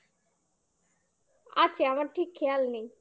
আছে আমার ঠিক খেয়াল নেই